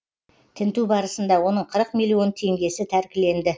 тінту барысында оның қырық миллион теңгесі тәркіленді